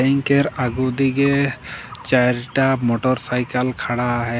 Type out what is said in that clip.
केर आगो दीगे चैरटा मोटरसाइकल खड़ा है।